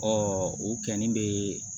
o kɔni bɛ